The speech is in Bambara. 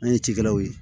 An ye cikɛlaw ye